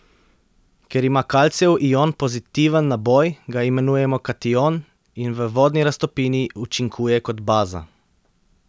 Ker ima kalcijev ion pozitiven naboj, ga imenujemo kation in v vodni raztopini učinkuje kot baza.